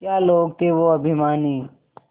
क्या लोग थे वो अभिमानी